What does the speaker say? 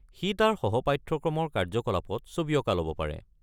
সি তাৰ সহ-পাঠ্যক্ৰমৰ কাৰ্যকলাপত ছবি অঁকা ল'ব পাৰে।